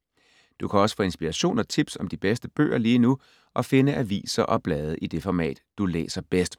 Du kan også få inspiration og tips om de bedste bøger lige nu og finde aviser og blade i det format, du læser bedst.